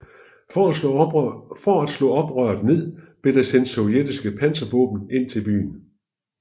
For at slå oprøret ned blev der sendt sovjetiske panservåben ind i byen